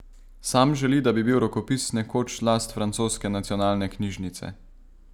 Sam želi, da bi bil rokopis nekoč last francoske nacionalne knjižnice.